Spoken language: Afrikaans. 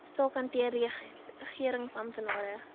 saak hanteer regeringsamptenare